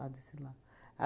A desfilar.